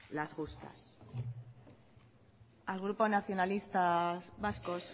las justas al grupo nacionalistas vascos